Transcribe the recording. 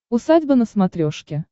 усадьба на смотрешке